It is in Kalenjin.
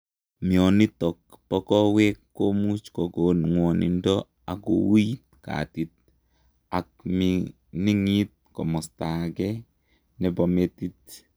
Mionitok poo kowek komuuch kokon nwogindoo ak kouit katit ak miningit komastaa agee nepoo metiit